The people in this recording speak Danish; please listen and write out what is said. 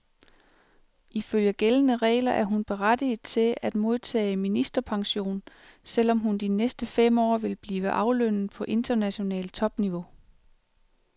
Ifølge gældende regler er hun berettiget til at modtage ministerpension, selv om hun de næste fem år vil blive aflønnet på internationalt topniveau.